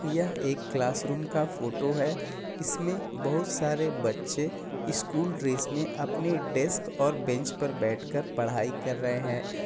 यह एक classroom का फोटो है इसमे बहुत सारे बच्चे स्कुल ड्रेस में अपने डेस्क और बेंच पर बैठ कर पढाई कर रहे है।